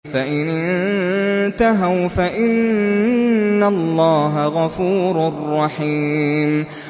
فَإِنِ انتَهَوْا فَإِنَّ اللَّهَ غَفُورٌ رَّحِيمٌ